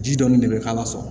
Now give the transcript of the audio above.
Ji dɔɔni de bɛ k'a la so